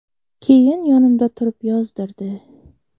Keyin yonimda turib yozdirdi.